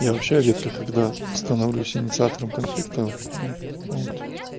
я вообще редко когда становлюсь инициатором конфликта ну вот